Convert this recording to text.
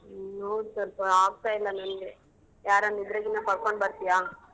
ಹ್ಮ್ ನೋಡ್ ಸೊಲ್ಪ ಆಗ್ತಾ ಇಲ್ಲ ನಂಗೆ. ಯಾರಾನು ಇದ್ರೆಗಿನ ಕರ್ಕೊಂಡ್ ಬರ್ತಿಯ?